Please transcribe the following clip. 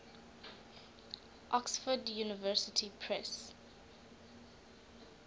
oxford university press